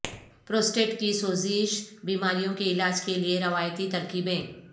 prostate کی سوزش بیماریوں کے علاج کے لیے روایتی ترکیبیں